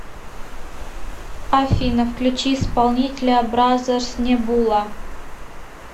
афина включи исполнителя бразэрс небула